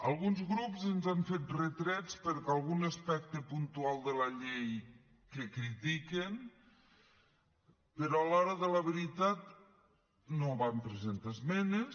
alguns grups ens han fet retrets per algun aspecte puntual de la llei que critiquen però a l’hora de la veritat no van presentar esmenes